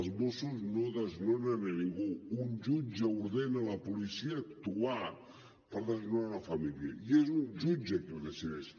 els mossos no desnonen a ningú un jutge ordena a la policia actuar per desnonar una família i és un jutge qui ho decideix